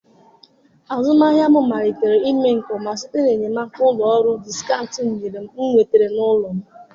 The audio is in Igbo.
Azụmahịa m malitere ime nke ọma site na enyemaka ụlọ ọrụ diskaụnt nyere m nwetara n'ụlọ m.